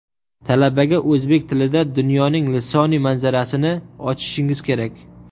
Talabaga o‘zbek tilida dunyoning lisoniy manzarasini ochishingiz kerak.